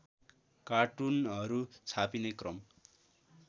कार्टुनहरू छापिने क्रम